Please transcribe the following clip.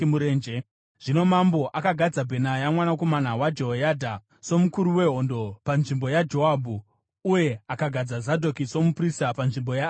Zvino mambo akagadza Bhenaya mwanakomana waJehoyadha somukuru wehondo panzvimbo yaJoabhu, uye akagadza Zadhoki somuprista panzvimbo yaAbhiatari.